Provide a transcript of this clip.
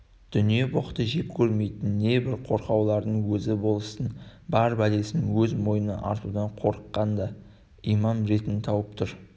дүние-боқты жек көрмейтін небір қорқаулардың өзі болыстың бар бәлесін өз мойнына артудан қорыққанда имам ретін тауып тұр